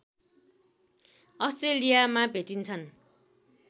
अस्ट्रेलियामा भेटिन्छन्